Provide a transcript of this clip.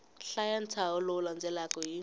hlaya ntshaho lowu landzelaka hi